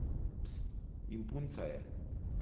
Pst, in punca je ...